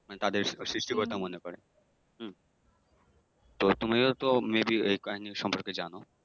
মানে তাদের সৃষ্টিকর্তা মনে করে। হম তো তুমিও তো may be এই কাহানি সম্পর্কে জানো